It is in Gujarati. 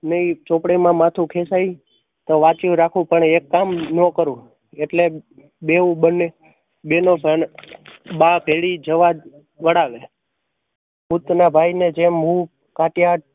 નઈ ચોપડી માં માથું ખેંચાઈ તો વાંચ્યું રાખું પણ એક કામ નો કરું એટલે બેવ બંને બેનો બા પેઠી જવા વળાવે ભૂત ના ભાઈ ને જેમ હું